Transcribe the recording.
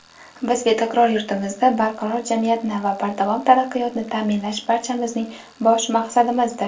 Biz "Betakror yurtimizda barqaror jamiyatni va bardavom taraqqiyotni taʼminlash – barchamizning bosh maqsadimizdir!"